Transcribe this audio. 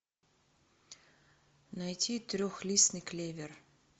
найти трехлистный клевер